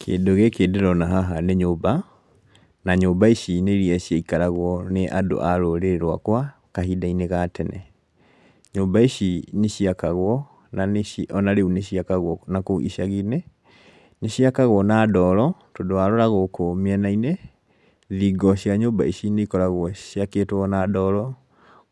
Kĩndũ gĩkĩ ndĩrona haha nĩ nyũmba, na nyũmba ici nĩ iria ciaikaragwo nĩ andũ a rũrĩrĩ rwakwa kahinda-inĩ ga tene. Nyũmba ici nĩciakagwo na nĩci onarĩu nĩciakagwo nakũu icagi-inĩ, nĩciakagwo na ndoro tondũ warora gũkũ mĩena-inĩ, thingo cia nyũmba ici nĩikoragwo ciakĩtwo na ndoro,